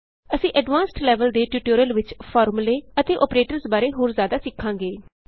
ਅਸੀਂ advanced level ਦੇ tutorial ਵਿਚ ਫਾਰਮੂਲੇ ਅਤੇ ਅੋਪਰੇਟਰਸ ਬਾਰੇ ਹੋਰ ਜ਼ਿਆਦਾ ਸਿੱਖਾਂਗੇ